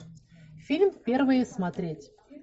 фильм первые смотреть